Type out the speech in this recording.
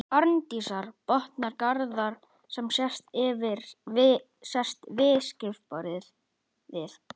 Arndísar, botnar Garðar sem sest við skrifborðið.